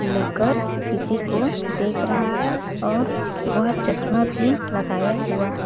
ले कर किसी को देख रहा है और वह चश्मा भी लगा हुआ है।